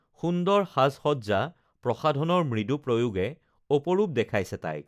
সুন্দৰ সাজসজ্জা প্ৰসাধনৰ মৃদু প্ৰয়োগে অপৰূপ দেখাইছে তাইক